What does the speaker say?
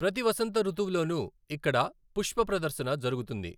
ప్రతి వసంత ఋతువులోనూ ఇక్కడ పుష్ప ప్రదర్శన జరుగుతుంది.